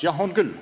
Jah, on küll.